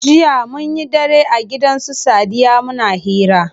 Jiya munyi dare a gidan su sadiya muna hira.